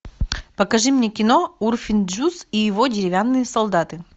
покажи мне кино урфин джюс и его деревянные солдаты